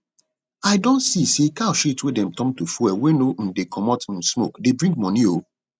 i don see say cow shit wey dem turn to fuel wey no um dey comot um smoke dey bring money o